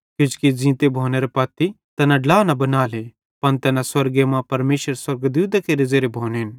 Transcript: किजोकि ज़ींते भोनेरां पत्ती तैना ड्ला न बनाले पन तैना स्वर्गे मां परमेशरेरे स्वर्गदूतां केरे ज़ेरे भोनेन